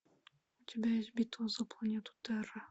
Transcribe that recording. у тебя есть битва за планету терра